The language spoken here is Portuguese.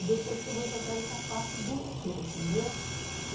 E depois que eu vou jogar essa parte do metrô, entendeu?